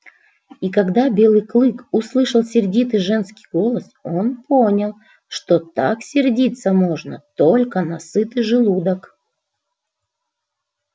и когда белый клык услышал сердитый женский голос он понял что так сердиться можно только на сытый желудок